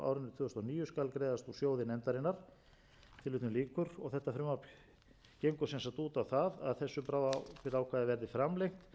tvö þúsund og níu skal greiðast úr sjóði nefndarinnar þetta frumvarp gengur sem sagt út á það að þessu bráðabirgðaákvæði verði framlengt til